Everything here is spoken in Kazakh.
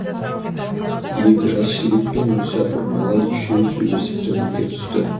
екі жас жігіт пен мүсәпір малай үшеуі сөйлесіп төменге түсті